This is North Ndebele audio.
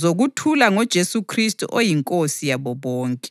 zokuthula ngoJesu Khristu oyiNkosi yabo bonke.